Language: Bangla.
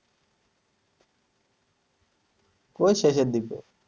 কই শেষের দিকে?